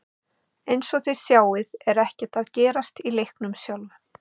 Eins og þið sjáið er ekkert að gerast í leiknum sjálfum.